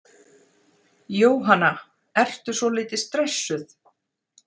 Jóhanna: Ertu svolítið stressuð?